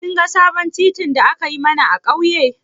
Kin ga sabon titin da aka yi mana a ƙauye?